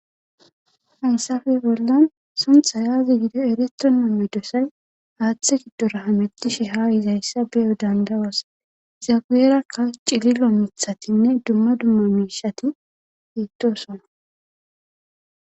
hayssafey bollan suntha aazi gide eletronomme dosay haaththe giddora hametishe ha izayssa be7o dandawas zagiyerakka cililo mithatinne dumma dumma miishati geettosona